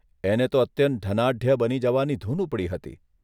એને તો અત્યંત ધનાઢ્ય બની જવાની ધૂન ઉપડી હતી.